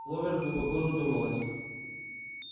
кловер глубоко задумалась